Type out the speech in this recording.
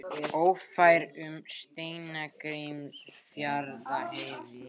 Ófært um Steingrímsfjarðarheiði